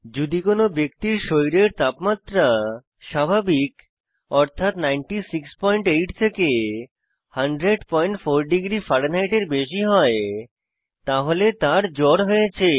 যদি কোনো ব্যক্তির শরীরের তাপমাত্রা স্বাভাবিক অর্থাৎ 968 থেকে 1004º ফারেনহাইটের বেশি হয় তাহলে তার জ্বর হয়েছে